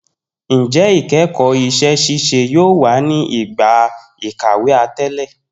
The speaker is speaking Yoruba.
Njẹ ikẹkọ iṣẹ-ṣiṣe yoo wa ni igba ikawe atẹle.